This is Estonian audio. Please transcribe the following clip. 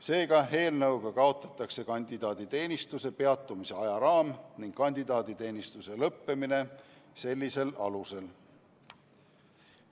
Seega, eelnõuga kaotatakse kandidaaditeenistuse peatumise ajaraam ning kandidaaditeenistuse lõppemine sellisel alusel.